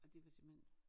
Og det var simpelthen